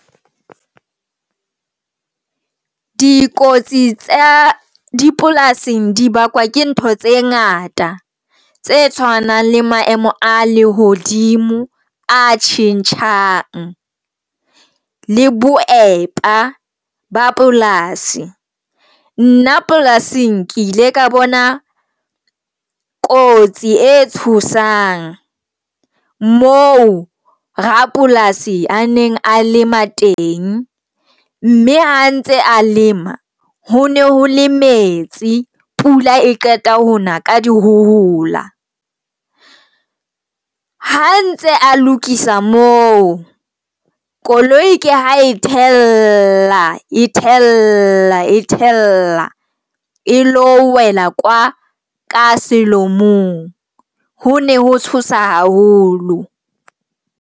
Dikotsi tsa dipolasing di bakwa ke ntho tse ngata tse tshwanang le maemo a lehodimo a tjhentjhang le boepa ba polasi. Nna polasing ke ile ka bona kotsi e tshosang moo rapolasi a neng a lema teng, mme ha ntse a lema ho ne ho le metsi. Pula e qeta hona ka di hohola ha ntse a lokisa mo koloi, ke ha e tla e thella e thella e lo wela kwa ka selomong ho ne ho tshosa haholo.